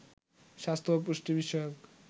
স্বাস্থ্য ও পুষ্টি বিষয়ক